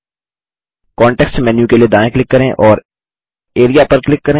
context menu के लिए दायाँ क्लिक करें और एआरईए पर क्लिक करें